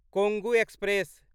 Kongu express